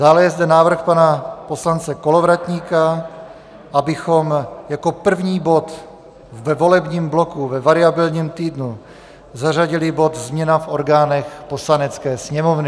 Dále je zde návrh pana poslance Kolovratníka, abychom jako první bod ve volebním bloku ve variabilním týdnu zařadili bod změna v orgánech Poslanecké sněmovny.